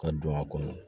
Ka don a kɔnɔ